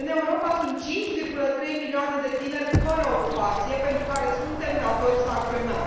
În Europa sunt 5,3 milioane de tineri fără ocupație, pentru care suntem datori să acționăm.